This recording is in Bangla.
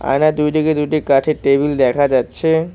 আয়নার দুইদিকে দুইটি কাঠের টেবিল দেখা যাচ্ছে।